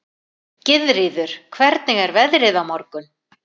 Gyðríður, hvernig er veðrið á morgun?